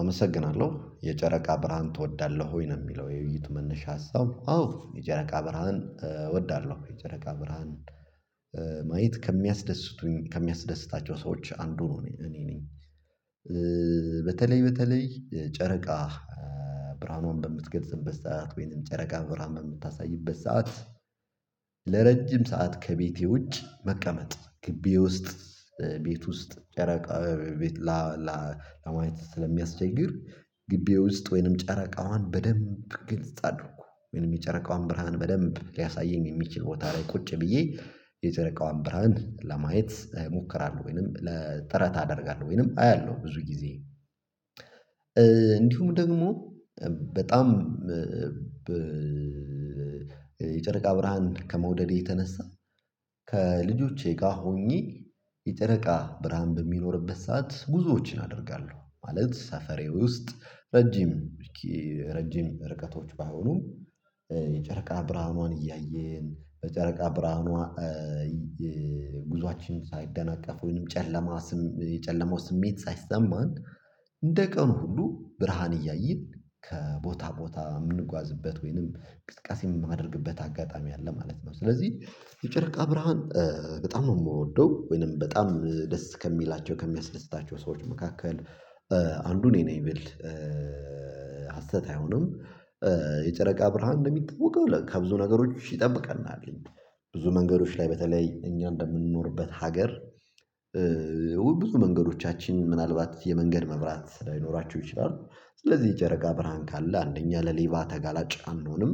አመሰግናለሁ። የጨረቃ ብርሃን ትወዳለህ ወይ ነው የሚለው የውይይቱ መነሻ ሀሳብ። አዎ የጨረቃ ብርሃን እወዳለሁ የጨረቃ ብርሃን ማየት ከሚያስደስቱኝ ከሚያስደስታቸው ሰዎች አንዱ ነው እኔ ነኝ። በተለይ በተለይ ጨረቃ ብርሃኑን በምትገልጽበት ሰዓት ወይንም ጨረቃ ብርሃን በምታሳይበት ሰዓት ለረጅም ሰዓት ከቤቴ ውጭ መቀመጥ ግቢ ውስጥ፤ ቤት ውስጥ ጨረቃ ቤት ለማየት ስለሚያስቸግር ግቢ ውስጥ ወይንም ጨረቃዋን በደንብ ግልጽ አድርጎ ወይንም የጨረቃዋን ብርሃን በደንብ ሊያሳየኝ የሚችል ቦታ ላይ ቁጭ ብዬ የጨረቃዋን ብርሃን ለማየት እሞክራለሁ ወይንም ለ ጥረት አደርጋለሁ ወይንም አያለሁ ብዙ ጊዜ። እንዲሁም ደግሞ በጣም የጨረቃ ብርሃን ከመውደዴ የተነሳ ከልጆቼ ጋር ሆኜ የጨረቃ ብርሃን በሚኖርበት ሰዓት ጉዞዎችን አደርጋለሁ ማለት ሰፈሬ ውስጥ ረጅም ረጅም ርቀቶች ባይሆኑም የጨረቃ ብርሃኗን እያየን በጨረቃ ብርሃኗ ጉዞአችን ሳይደናቀፍ ወይንም ጨለማ ስም የጨለማው ስሜት ሳይሰማን እንደ ቀኑ ሁሉ ብርሃን እያየን ከቦታ ቦታ የምንጓዝበት ወይንም እንቅስቀሴ የማደርግበት አጋጣሚ አለ ማለት ነው። ስለዚህ የጨረቃ ብርሃን በጣም ነው ምወደው፤ ወይንም በጣም ደስ ከሚላቸው ከሚያስደስታቸው ሰዎች መካከል አንዱ እኔ ነኝ ብል ሀሰት አይሆንም የጨረቃ ብርሃን እንደሚታወቀው ከብዙ ነገሮች ይጠብቀናል ብዙ መንገዶች ላይ በተለይ እኛ እንደምንኖርበት ሀገር ብዙ መንገዶቻችን ምናልባት የመንገድ መብራት ላይኖራቸው ይችላል ስለዚህ ጨረቃ ብርሃን ካለ አንደኛ ለሌባ ተጋላጭ አንሆንም።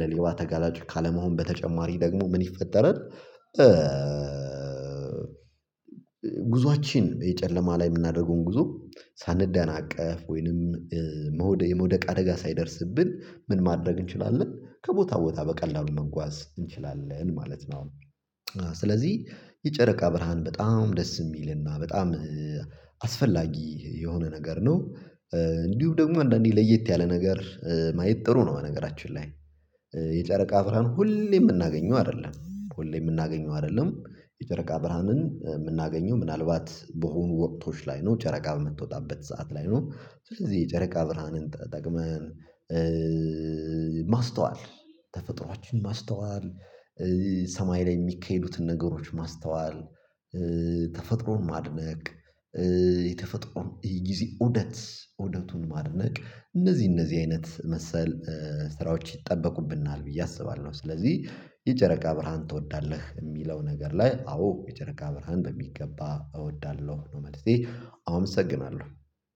ለሌባ ተጋላጭ ካለመሆን በተጨማሪ ደግሞ ምን ይፈጠራል ጉዟችን የጨለማ ላይ የምናደርገውን ጉዞ ሳንደናቀፍ ወይንም የመውደቅ አደጋ ሳይደርስብን ምን ማድረግ እንችላለን? ከቦታ ቦታ በቀላሉ መንጓዝ እንችላለን ማለት ነው። ስለዚህ የጨረቃ ብርሃን በጣም ደስ የሚልና በጣም አስፈላጊ የሆነ ነገር ነው። እንዲሁ ደግሞ አንዳንዴ ለየት ያለ ነገር ማየት ጥሩ ነው በነገራችን ላይ። የጨረቃ ብርሃን ሁሌ የምናገኘው አይደለም ሁሌ የምናገኘው አይደለም። የጨረቃ ብርሃንን የምናገኘው ምናልባት በሆኑ ወቅቶች ላይ ነው፣ ጨረቃ በምትወጣበት ሰዓት ላይ ነው። ስለዚህ የጨረቃ ብርሃንን ተጠቅመን ማስተዋል ተፈጥሮአችን ማስተዋል፣ ሰማይ ላይ የሚካሄዱትን ነገሮች ማስተዋል፣ ተፈጥሮን ማድነቅ የተፈጥሮን ጊዜ እውደት እውደቱን ማድነቅ፣ እነዚህ እነዚህ አይነት መሰል ስራዎች ይጠበቁብናል ብዬ አስባለሁ ስለዚህ የጨረቃ ብርሃን ትወዳለህ የሚለው ነገር ላይ አዎ የጨረቃ ብርሃን በሚገባ እወዳለሁ ነው መልሴ አመሰግናለሁ።